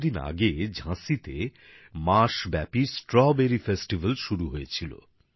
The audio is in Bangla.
কিছু দিন আগে ঝাঁসিতে মাসব্যাপী স্ট্রবেরী উৎসব শুরু হয়েছিল